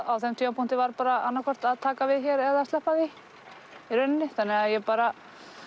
á þeim tímapunkti var annað hvort að taka við hér eða sleppa því í rauninni þannig að ég bara